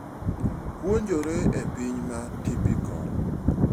Puonjore e piny ma typical.